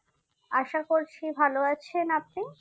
আসা করছি ভালো আছেন আপনি।